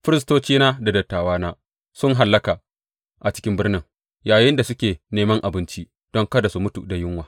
Firistocina da dattawana sun hallaka a cikin birnin yayinda suke neman abinci don kada su mutu da yunwa.